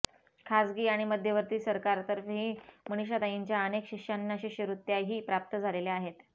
खासगी आणि मध्यवर्ती सरकार तर्फेही मनीषाताईंच्या अनेक शिष्यांना शिष्यवृत्त्याही प्राप्त झालेल्या आहेत